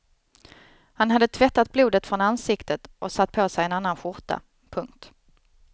Han hade tvättat blodet från ansiktet och satt på sig en annan skjorta. punkt